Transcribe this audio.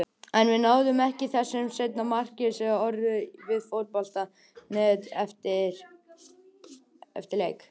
En við náðum ekki þessu seinna marki, sagði Orri við Fótbolti.net eftir leik.